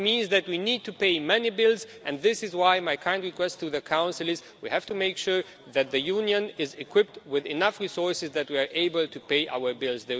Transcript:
It means that we need to pay many bills, and this is why my kind request to the Council is we have to make sure that the Union is equipped with enough resources that we are able to pay our bills.